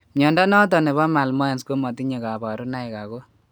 Mnondo noton nebo malmoense komatinye kabarunaik ago